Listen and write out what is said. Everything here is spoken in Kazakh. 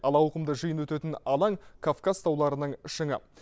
ал ауқымды жиын өтетін алаң кавказ тауларының шыңы